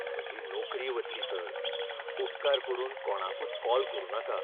म्हजी नोकरी वतली, सर . उपकार करून कोणाकूच कॉल करुनाका